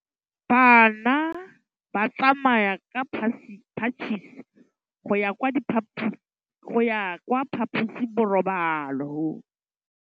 Bana ba tsamaya ka phašitshe go ya kwa phaposiborobalong.